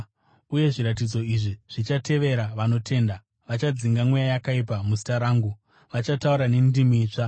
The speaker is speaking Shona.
Uye zviratidzo izvi zvichatevera vanotenda: Vachadzinga mweya yakaipa muzita rangu, vachataura nendimi itsva;